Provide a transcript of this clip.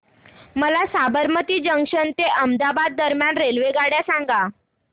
मला साबरमती जंक्शन ते अहमदाबाद दरम्यान रेल्वेगाड्या सांगा